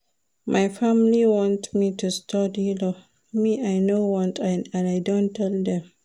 My family wan make I study law but I no want and I don tell dem